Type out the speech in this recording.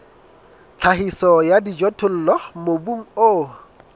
tlhahiso ya dijothollo mobung o